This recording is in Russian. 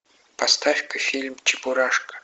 поставь ка фильм чебурашка